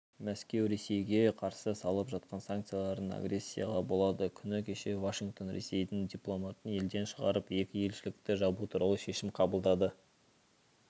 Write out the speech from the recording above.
мәскеу ресейге қарсы салып жатқан санкцияларын агрессияға балады күні кеше вашингтон ресейдің дипломатын елден шығарып екі елшілікті жабу туралы шешім қабылдады